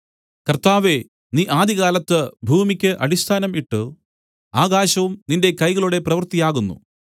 കർത്താവേ നീ ആദികാലത്ത് ഭൂമിക്കു അടിസ്ഥാനം ഇട്ട് ആകാശവും നിന്റെ കൈകളുടെ പ്രവൃത്തി ആകുന്നു